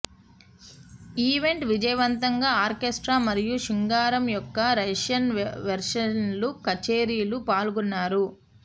event విజయవంతంగా orchestra మరియు శృంగారం యొక్క రష్యన్ వెర్షన్లు కచేరీలు పాల్గొన్నారు